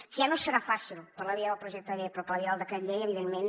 que ja no serà fàcil per la via del projecte de llei però per la via del decret llei evidentment